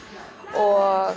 og